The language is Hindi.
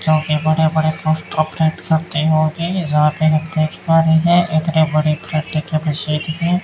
जो की बड़े बड़े पोस्टर प्रिंट करते होते जहां पे हम देख पा रहे हैं इतनी बड़ी प्रिंटिंग की मशीन है।